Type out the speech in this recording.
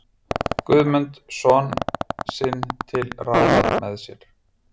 Guðmund son sinn til ráða með sér.